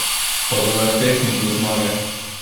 Pa dober tek in do zmage!